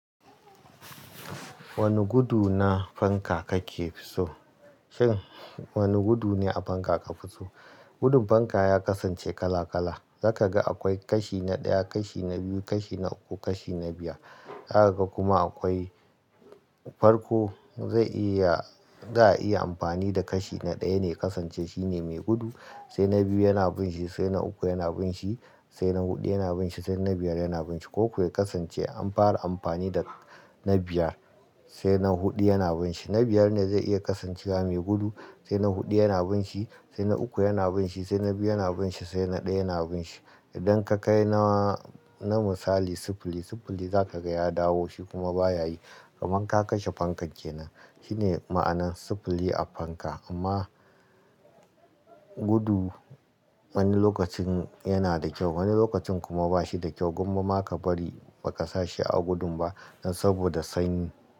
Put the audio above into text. Wane gudu na fanka kake fi so? Shin wane gudu ne a fanka ka fi so? Gudun fanka ya kasance kala-kala. Za ka ga akwai kashi na ɗaya, kashi na biyu, kashi na uku, kashi na biyar. Za ka ga kuma akwai farko zai iya-- za a iya amfani da kashi na ɗaya ne kasance shi ne mai gudu, sai na biyu yana bin shi, sai na uku yana bin shi, sai na hudu yana bin shi, sai na biyar yana bin shi. Ko kuwa kasance an fara amfani da na biyar sai na hudu yana bin shi. Na biyar ne zai iya kasancewa mai gudu sai na hudu yana bin shi, sai na uku yana bin shi, sai na biyu yana bin shi, sai na ɗaya yana bin shi. Idan ka kai na, na misali sifili, sifili za ka ga ya dawo shi kuma baya yi, kamar ka kashe fankan kenan. Shi ne ma'anar sifili a fanka, amma gudu wani lokacin yana da kyau, wani lokacin kuma ba shi da kyau. Gomma ma ka bari ba ka sashi a gudun ba saboda sanyi.